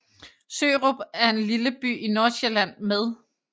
Sørup er en lille by i Nordsjælland med